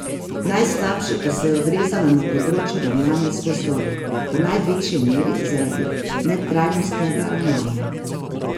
Najslabše pa se je odrezala na področju ravnanja z gozdovi, v največji meri zaradi netrajnostnega ravnanja.